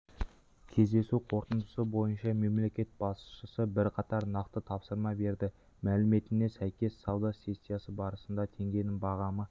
кездесу қорытындысы бойынша мемлекет басшысы бірқатар нақты тапсырма берді мәліметіне сәйкес сауда сессиясы барысында теңгенің бағамы